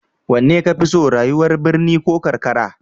Wanne ka fi so, rayuwar birni ko karkara?